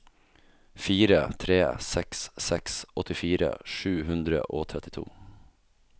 fire tre seks seks åttifire sju hundre og trettito